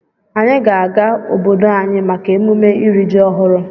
Anyị ga-aga obodo anyị maka emume iri ji ọhụrụ.